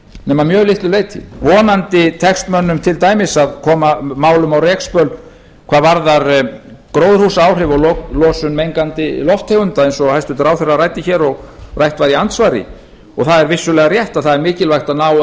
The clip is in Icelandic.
nema að mjög litlu leyti vonandi tekst mönnum til dæmis að koma málum á rekspöl hvað varðar gróðurhúsaáhrif og losun mengandi lofttegunda eins og hæstvirtur ráðherra ræddi hér og rætt var í andsvari það er vissulega rétt að það er mikilvægt að ná